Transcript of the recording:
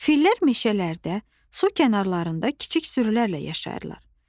Fillər meşələrdə, su kənarında kiçik sürülərlə yaşayırlar.